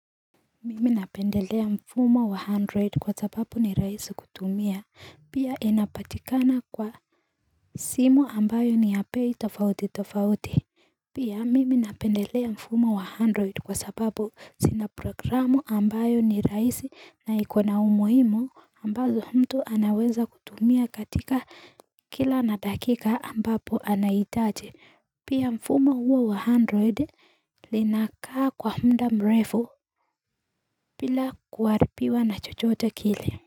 Mimi napendelea mfumo wa android kwa sababu ni raisi kutumia pia inapatikana kwa simu ambayo ni ya bei tofauti tofauti Pia mimi napendelea mfumo wa android kwa sababu sina programu ambayo ni raisi na ikona umuhimo ambazo mtu anaweza kutumia katika kila na dakika ambapo anaitaji Pia mfumo huwa wa android linakaa kwa muda mrefu bila kuharipiwa na chochote kile.